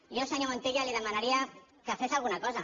jo senyor montilla li demanaria que fes alguna cosa